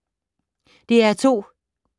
DR2